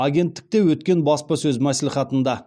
агенттікте өткен баспасөз мәслихатында